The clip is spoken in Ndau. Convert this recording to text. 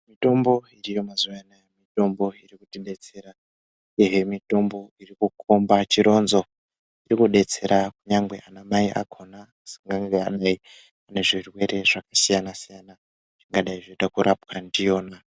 Mitombo yemazuvana mitombo iri kutidetsera ehe mitombo irikukomba chironzo inodetsera kunyange ana mai akaona anosangana nezvirwere zvakasiyana siyana zvingadei zvekuda rapwe ndiyona.